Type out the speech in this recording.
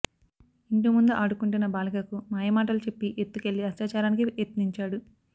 ఇంటి ముందు ఆడుకుంటున్న బాలికకు మాయమాటలు చెప్పి ఎత్తుకెళ్లి అత్యాచారానికి యత్నించాడు